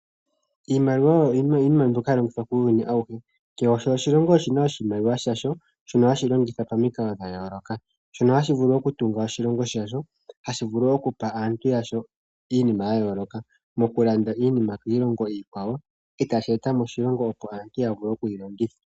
Iimaliwa oyo iinima mbyoka hayi longithwa kuuyuni awuhe, kehe oshilongo oshi na oshimaliwa shasho shono hashi longitha pamikalo dha yooloka shono hashi vulu okutunga oshilongo shasho, hashi vulu wo okupa aantu yasho iinima ya yooloka mokulanda iinima kiilongo kiilongo iikwawo e tashi eta moshilongo opo aantu ya vule okuyi longitha.